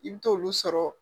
I bi t'olu sɔrɔ